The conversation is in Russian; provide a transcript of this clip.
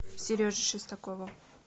сереже шестакову